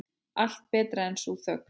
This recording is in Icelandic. Allt betra en sú þögn.